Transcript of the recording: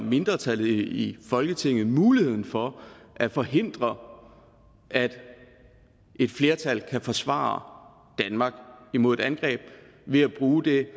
mindretal i folketinget mulighed for at forhindre at et flertal kan forsvare danmark imod et angreb ved at bruge det